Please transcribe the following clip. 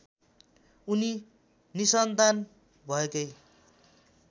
उनी निसन्तान भएकै